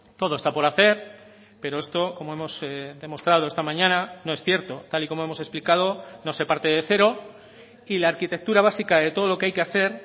todo está por hacer pero esto como hemos demostrado esta mañana no es cierto tal y como hemos explicado no se parte de cero y la arquitectura básica de todo lo que hay que hacer